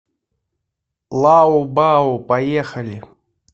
лао бао поехали